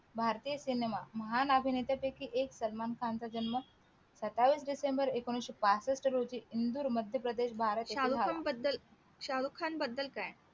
भारतीय सिनेमा महान अभिनेत्यांपैकी एक सलमान खान चा जन्म सत्ताविस डिसेंबर एकोणविशे पासष्ठ मध्ये इंदूर मध्यप्रदेश भारत येथे झाला शारुख खान बद्दल शारुख खान बद्दल काय